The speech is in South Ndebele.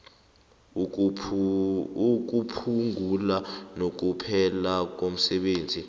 ukuphungula nokuphela komsebenzi